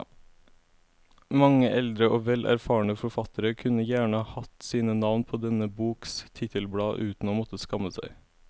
Mange eldre og vel erfarne forfattere kunne gjerne hatt sine navn på denne boks titelblad uten å måtte skamme seg.